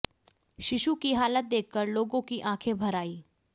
शिशु की हालत देखकर लोगों की आंखें भर आईं